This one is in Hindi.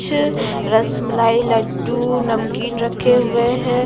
रसमलाई लड्डू ऊ नमकीन रखे हुए हैं।